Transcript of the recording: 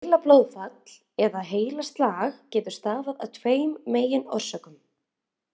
Heilablóðfall eða heilaslag getur stafað af tveimur meginorsökum.